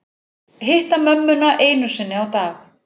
Hitta mömmuna einu sinni á dag